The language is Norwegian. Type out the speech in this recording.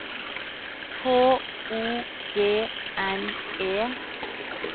H O G N E